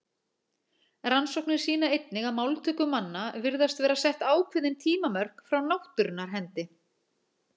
Rannsóknir sýna einnig að máltöku manna virðast vera sett ákveðin tímamörk frá náttúrunnar hendi.